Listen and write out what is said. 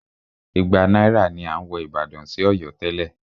Igba náírà ni à ń wọ ìbàdàn sí Ọ̀yọ́ tẹ́lẹ̀.